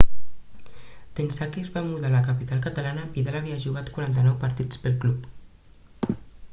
d'ençà que es va mudar a la capital catalana vidal havia jugat 49 partits pel club